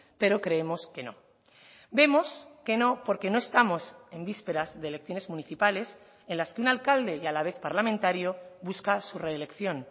pero creemos que no vemos que no porque no estamos en vísperas de elecciones municipales en las que un alcalde y a la vez parlamentario busca su reelección